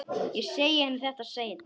Ég segi henni þetta seinna.